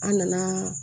An nana